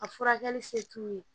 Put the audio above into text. A furakɛli se t'u ye